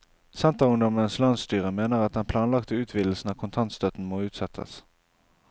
Senterungdommens landsstyre mener at den planlagte utvidelsen av kontantstøtten må utsettes.